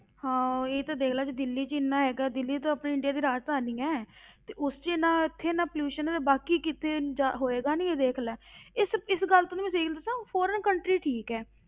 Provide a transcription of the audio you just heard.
ਹਾਂ ਉਹੀ ਤੇ ਦੇਖ ਲਾ ਜੇ ਦਿੱਲੀ ਵਿੱਚ ਹੀ ਇੰਨਾ ਹੈਗਾ, ਦਿੱਲੀ ਤਾਂ ਆਪਣੀ ਇੰਡੀਆ ਦੀ ਰਾਜਧਾਨੀ ਹੈ ਤੇ ਉਸ ਵਿੱਚ ਇੰਨਾ ਇੱਥੇ ਇੰਨਾ pollution ਹੈ ਤੇ ਬਾਕੀ ਕਿਤੇ ਜਾ ਹੋਏਗਾ ਨੀ ਦੇਖ ਲੈ ਇਸ ਇਸ ਗੱਲ ਤੈਨੂੰ ਮੈਂ ਸਹੀ ਗੱਲ ਦੱਸਾਂ foreign country ਠੀਕ ਹੈ,